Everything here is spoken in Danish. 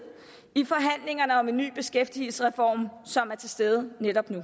i forhandlingerne om en ny beskæftigelsesreform som er til stede netop nu